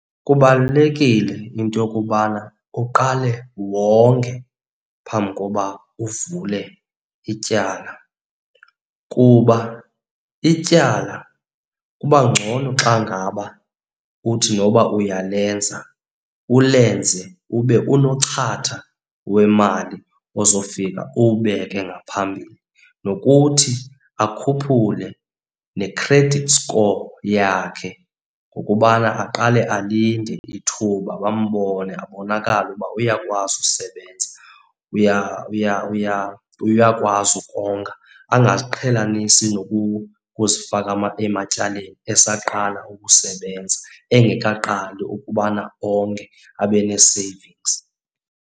Kubalulekile into yokubana uqale wonge phambi koba uvule ityala kuba ityala kuba ngcono xa ngaba uthi noba uyalenza, ulenze ube unochatha wemali ozofika uwubeke ngaphambili. Nokuthi akhuphule ne-credit score yakhe ngokubana aqale alinde ithuba bambone, abonakale ukuba uyakwazi usebenza, uyakwazi ukonga. Angaziqhelanisi nokuzifaka ematyaleni esaqala ukusebenza engeqali ukubana onge, abe nee-savings.